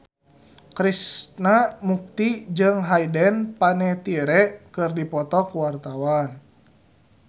Krishna Mukti jeung Hayden Panettiere keur dipoto ku wartawan